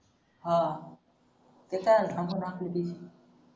हा कशानी